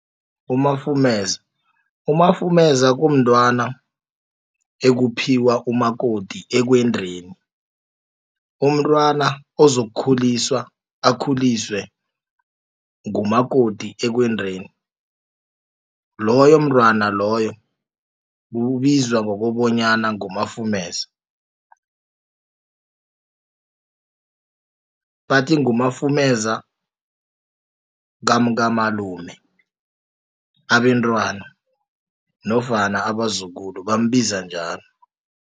Umafumeza. Umafumeza kumntwana ekuphiwa umakoti ekwendeni umntwana ozokukhuliswa akhuliswe ngumakoti ekwendeni loyo mntwana loyo kubizwa ngokobanyana ngumafumeza. Bathi ngumafumeza kamkamalume abentwana nofana abazukulu bambiza njalo.